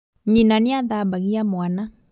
Nyina niathambagia mwana